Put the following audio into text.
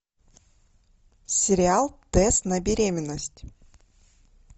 сериал тест на беременность